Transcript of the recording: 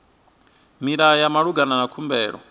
milayo ya malugana na khumbelo